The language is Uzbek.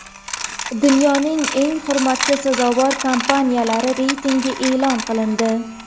Dunyoning eng hurmatga sazovor kompaniyalari reytingi e’lon qilindi.